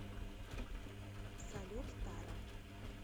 салют тара